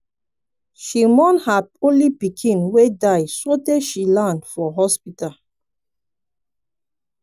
she mourn her only pikin wey die sotee she land for hospital.